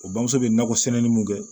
O bamuso bɛ nakɔ sɛnɛli mun kɛ